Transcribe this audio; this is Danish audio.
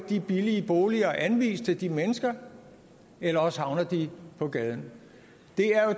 de billige boliger at anvise til de mennesker eller også havner de på gaden